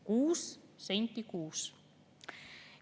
Kuus senti kuus!